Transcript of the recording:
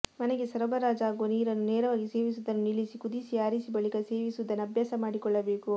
ಮನೆಗೆ ಸರಬರಾಜಾಗುವ ನೀರನ್ನು ನೇರವಾಗಿ ಸೇವಿಸುವುದನ್ನು ನಿಲ್ಲಿಸಿ ಕುದಿಸಿ ಆರಿಸಿ ಬಳಿಕ ಸೇವಿಸುವುದನ್ನು ಅಭ್ಯಾಸ ಮಾಡಿಕೊಳ್ಳಬೇಕು